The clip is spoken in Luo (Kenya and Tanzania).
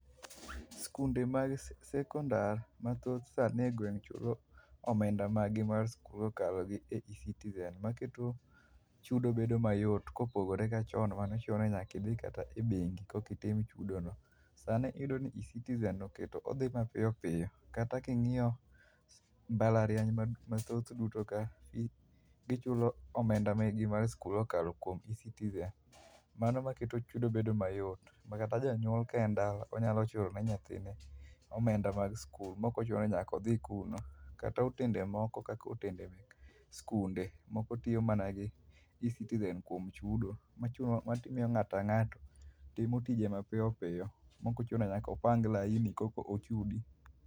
Skunde mag sekondar mathoth sani e gweng' chulo omenda margi mag skul kokalo gi e Ecitizen maketo chudo bedo mayot kopogore gi chon mane chuno ni nyaka idhi kata e bengi koka itim chudo no. Sani iyudo ni Ecitizen oketo odhi mapiyopiyo. Kata ka ing'iyo mbalariany mathoth duto ka, gichulo omenda mek gi mar skul kokalo kuom Ecitizen. Mano maketo chudo bedo mayot. Ma kata janyuol ka en dala onyalo chulo ne nyathine omenda mar skul, ma ok ochuno ni nyaka odhi kuno. Kata otende moko kaka otende mek skunde, moko tiyo mana gi Ecitizen kuom chudo, machuno mamiyo ng'ato ka nga'to timo tije ma piyopiyo mok ochuno ni nyaka opang laini korka ochudi.